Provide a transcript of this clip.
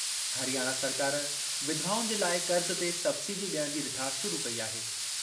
हरियाणा सरकार विधवाउनि जे लाइ क़र्ज़ ते सबसिडी ॾियण जी रिथा शुरू कई आहे।